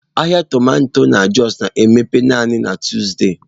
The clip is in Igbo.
Ahịa tomato na Jos na-emepe naanị na Tuzdee.